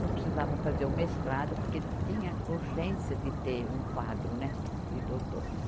Não precisava fazer o mestrado, porque tinha urgência de ter um quadro, né de doutores.